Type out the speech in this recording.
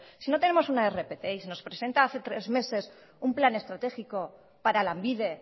si no tenemos una rpt y nos presentan hace tres meses un plan estratégico para lanbide